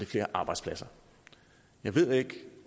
flere arbejdspladser jeg ved ikke